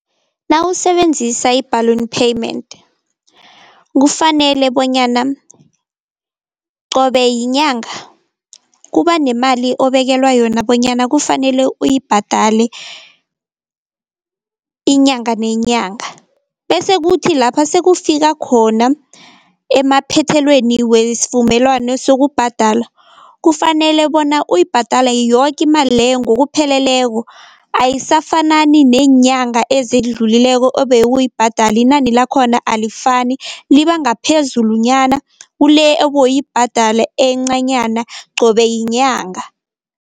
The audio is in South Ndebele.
Nawusebenzisa i-balloon payment kufanele bonyana qobe yinyanga, kuba nemali obekelwa yona bonyana kufanele uyibhadale inyanga nenyanga. Bese kuthi lapha sekufika khona emaphethelweni wesivumelwano sokubhadala kufanele bona uyibhadale yoke imali leyo ngokupheleleko, ayisafanani neenyanga ezidlulileko ebewuyibhadala inani lakhona alifani, liba ngaphezulunyana kule ebewuyibhadala encanyana qobe yinyanga.